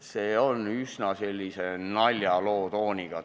See on üsna naljaloo tooniga.